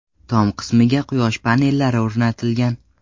Tom qismiga quyosh panellari o‘rnatilgan.